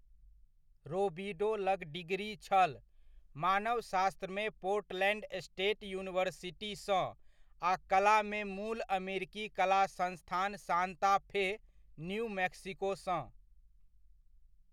रोबिडो लग डिग्री छल, मानवशास्त्रमे पोर्टलैंड स्टेट यूनिवर्सिटी सँ आ कलामे मूल अमेरिकी कला संस्थान सांता फ़े, न्यू मैक्सिको सँ।